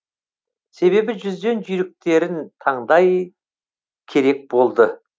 себебі жүзден жүйріктерін таңдау керек болды